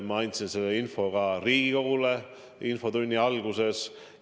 Ma andsin selle teate ka Riigikogule infotunni alguses edasi.